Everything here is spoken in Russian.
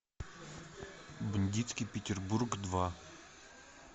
бандитский петербург два